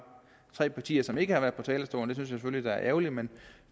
tre partier som ikke har været på talerstolen det jeg selvfølgelig er ærgerligt men